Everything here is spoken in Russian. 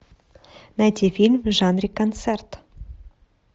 найти фильм в жанре концерт